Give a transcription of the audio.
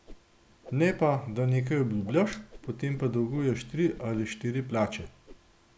Ne pa, da nekaj obljubljaš, potem pa dolguješ tri ali štiri plače.